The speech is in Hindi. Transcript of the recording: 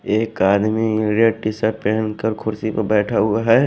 एक आदमी नीला टी शर्ट पेहनकर कुर्सी प बैठा हुआ है।